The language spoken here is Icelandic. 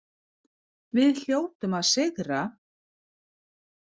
Við hljótum að sigra